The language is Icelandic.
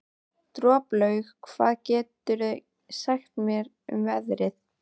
Droplaug, hvað geturðu sagt mér um veðrið?